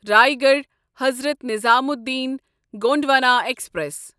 Raigarh Hazrat Nizamuddin Gondwana express